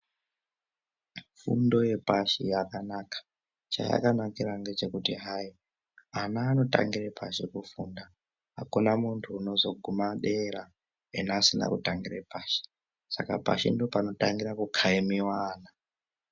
Fundo yepashi yakanaka chayakanakira ngechekuti hayi vana vanotangire pashi kufunda hakuna muntu unozoguma dera ena asina kutangire pashi saka pashi ndopano tangira kukayimiwa ana.